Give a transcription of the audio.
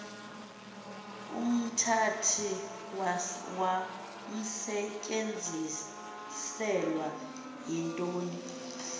umthathi wawnsetyenziselwa izinto